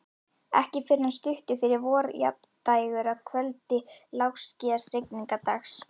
Ekki fyrr en stuttu fyrir vorjafndægur, að kvöldi lágskýjaðs rigningardags.